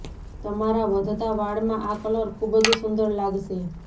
તમારા વધતા વાળમાં આ કલર ખૂબ જ સુંદર લાગશે